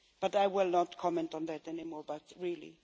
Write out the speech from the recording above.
I will not comment on that anymore, but really!